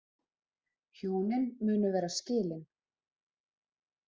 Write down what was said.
Hjónin munu vera skilin